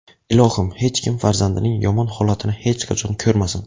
Ilohim, hech kim farzandining yomon holatini hech qachon ko‘rmasin.